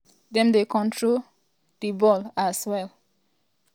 dem dey control di ball well as dem also dey find ademola lookman fro di front.